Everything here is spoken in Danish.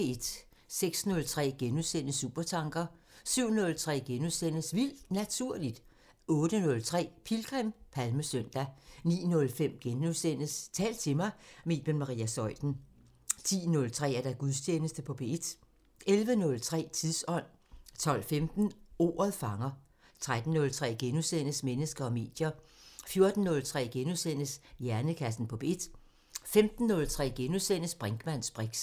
06:03: Supertanker * 07:03: Vildt Naturligt * 08:03: Pilgrim – Palmesøndag 09:05: Tal til mig – med Iben Maria Zeuthen * 10:03: Gudstjeneste på P1 11:03: Tidsånd 12:15: Ordet fanger 13:03: Mennesker og medier * 14:03: Hjernekassen på P1 * 15:03: Brinkmanns briks *